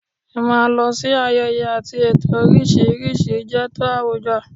Ì máa lọ sí ayẹyẹ àti ètò oríṣiríṣi jẹ́ tò àwùjọ